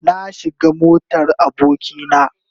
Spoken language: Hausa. Na shiga motar aboki na.